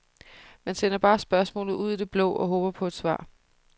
Man sender bare spørgsmålet ud i det blå og håber på svar.